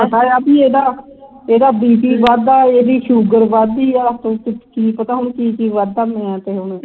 ਪਤਾਆ ਪੀ ਇਹਦਾ bp ਵੱਧਦਾ ਤੇਰੀ sugar ਵਧਦੀ ਹੈ ਕੀ ਪਤਾ ਹੁਣ ਇਹਦਾ ਕੀ ਕੀ ਵਗਦਾ ਹੋਣ